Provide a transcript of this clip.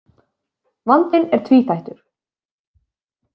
Vandinn er tvíþættur.